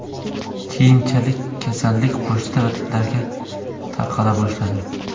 Keyinchalik kasallik qo‘shni davlatlarga tarqala boshladi.